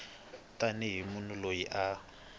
tani hi munhu loyi a